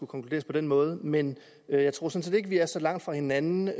konkluderet på den måde men jeg tror sådan ikke vi er så langt fra hinanden